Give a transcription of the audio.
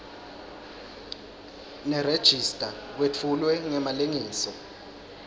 nerejista kwetfulwe ngemalengiso